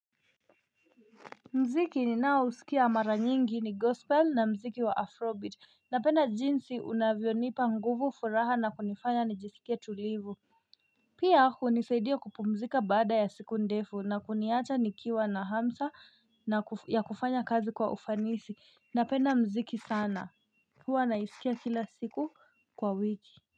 Muziki ninaousikia mara nyingi ni gospel na muziki wa afrobeat. Napenda jinsi unavyonipa nguvu, furaha na kunifanya nijisikie tulivu Pia hunisaidia kupumzika baada ya siku ndefu na kuniacha nikiwa na hamsa ya kufanya kazi kwa ufanisi. Napenda muziki sana huwa naisikia kila siku kwa wiki.